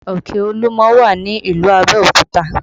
Òkè Olúmọ wà ní ìlú Abẹ́òkúta